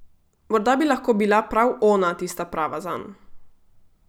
Morda bi lahko bila prav ona tista prava zanj!